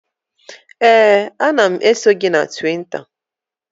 Ee, ana m eso gị na Twita